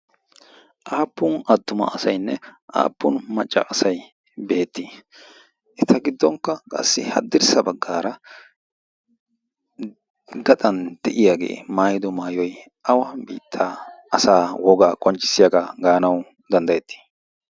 aappun adtuma asaynne aappun macca asay beettii eta giddonkka qassi haddirssa baggaara gaxan de'iyaagee maayido maayoy awa biittaa asaa wogaa qonccissiyaagaa gaanawu danddayettii